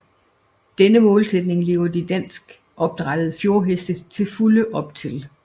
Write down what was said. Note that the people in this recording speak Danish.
Denne målsætning lever de danskopdrættede fjordheste til fulde op til